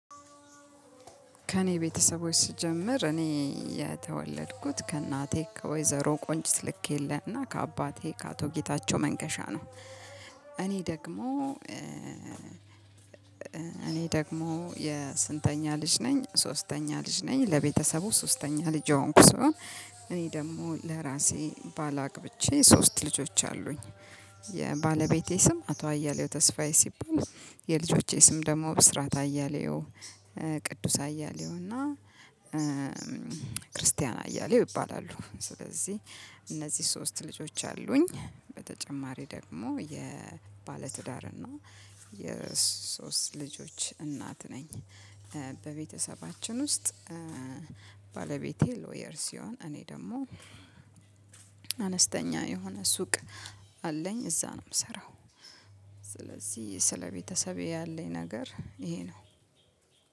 ከእኔ ቤተሰቦች ስጀምር እኔ የተወለድኩት ከእናቴ ከወይዘሮ ቆንጅት ልክየለህ እና ከአባቴ ከአቶ ጌታቸው መንገሻ ነው። እኔ ደግሞ እኔ ደግሞ የስንተኛ ልጅ ነኝ ሶስተኛ ልጅ ነኝ። ለቤተሰቡ ሶስተኛ ልጅ የሆንኩ ስሆን እኔ ደግሞ ለራሴ ባል አግብቼ ሶስት ልጆች አሉኝ። የባለቤቴ ስም አቶ አያሌው ተስፋዬ ሲባል፤ የልጆቼ ስም ደግሞ ብስራት አያሌው፣ ቅዱስ አያሌው ክርስቲያን አያሌው ይባላሉ። ስለዚህ እነዚህ ሶስት ልጆች አሉኝ። በተጨማሪ ደግሞ የባለትዳር እና የሶስት ልጆች እናት ነኝ። በቤተሰባችን ውስጥ ባለቤቴ ላውየር ሲሆን እኔ ደግሞ አነስተኛ የሆነ ሱቅ አለኝ። እዛ ነው የምሰራው። ስለዚህ ስለቤተሰቤ ያለኝ ነገር ይሄ ነው።